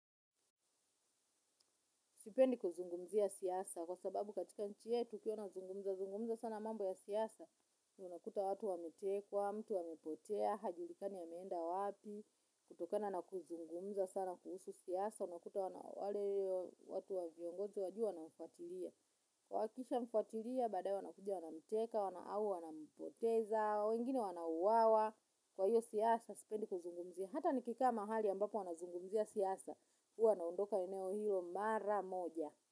Sipendi kuzungumzia siasa, kwa sababu katika nchi yetu ukiwa unazungumza, zungumza sana mambo ya siyasa. Unakuta watu wametekwa, mtu amepotea, hajulikani ameenda wapi, kutokana na kuzungumza sana kuhusu siyasa. Unakuta wana wale watu wa viongozi wajua na wafuatilia. Wahakikisha wamfuatilia, baadaye wanakuja wanamteka, wana au, wana mpoteza, wengine wana uawa. Kwa hiyo siasa, sipendi kuzungumzia. Hata nikikaa mahali ambapo wanazungumzia siasa huwa naondoka eneo hilo mara moja.